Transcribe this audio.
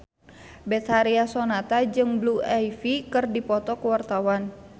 Betharia Sonata jeung Blue Ivy keur dipoto ku wartawan